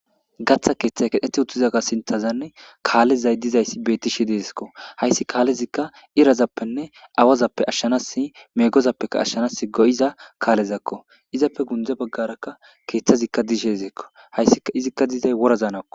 Gatha kethay kethet uttidaga sintani kalezay dizaysi betishe de'esko haysi kalezika irazappenna awazappe ashanasi megozappeka ashanasi go'iza kalezako izzappe gunde bagaraka kethazika de'izizikoizika dizzy worazanikko